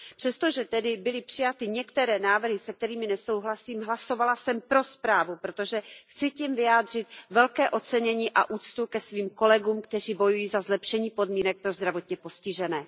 Přestože tedy byly přijaty některé návrhy, se kterými nesouhlasím, hlasovala jsem pro zprávu, protože tím chci vyjádřit velké ocenění a úctu svým kolegům, kteří bojují za zlepšení podmínek pro zdravotně postižené.